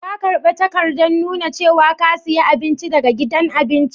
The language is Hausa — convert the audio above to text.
Ka karba takadan nuna cewa ka siya abinci daga gidan abincin?